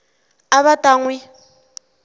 a va ta n wi